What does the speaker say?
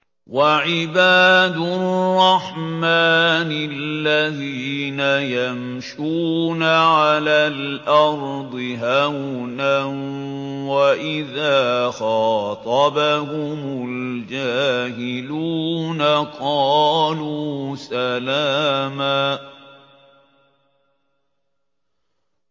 وَعِبَادُ الرَّحْمَٰنِ الَّذِينَ يَمْشُونَ عَلَى الْأَرْضِ هَوْنًا وَإِذَا خَاطَبَهُمُ الْجَاهِلُونَ قَالُوا سَلَامًا